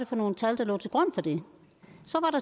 for nogle tal der lå til grund for det